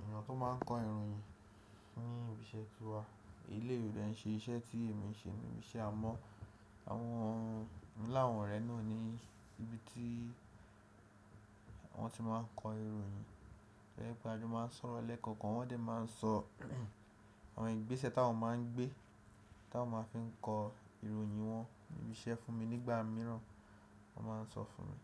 ènìyàn tó máa ń kọ ìròyìn ní ibi iṣẹ́ ti wa. Eleyii ò dẹ̀ ń ṣe iṣẹ́ tí èmi ń ṣe níbi iṣẹ́ amọ́ mo ni àwọn òrẹ náà ni ibi tí wọ́n ti máa ń kọ ìròyìn. Gégébï a se máa ń sọ̀rọ̀ lẹ́ẹ̀kan kan, wọ́n dẹ̀ máa ń sọ àwọn ìgbésẹ̀ táwọn máa ń gbé, táwọn máa fi ń kọ ìròyìn wọn níbi iṣẹ́ fún mi nígbà mìíràn wọ́n máa ń sọ fún mi.